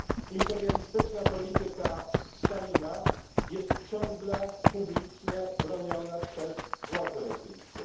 Imperialistyczna polityka Stalina jest ciągle publicznie broniona przez władze rosyjskie.